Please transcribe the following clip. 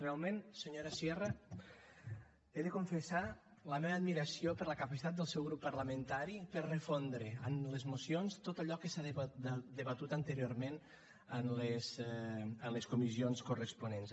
realment senyora sierra he de confessar la meva admiració per la capacitat del seu grup parlamentari per refondre en les mocions tot allò que s’ha debatut anteriorment en les comissions corresponents